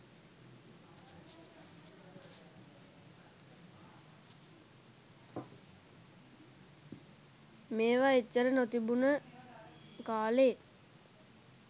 මේව එච්චර නොතිබුන කාලෙ